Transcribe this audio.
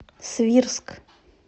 свирск